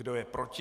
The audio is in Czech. Kdo je proti?